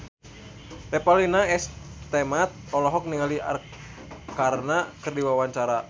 Revalina S. Temat olohok ningali Arkarna keur diwawancara